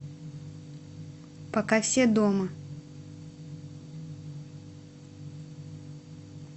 пока все дома